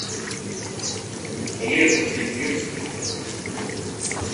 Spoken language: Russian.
лесосибирске